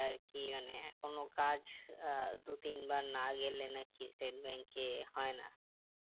আরকি মানে আহ কোনো কাজ আহ দু তিন বার না গেলে নাকি state bank এ হয় না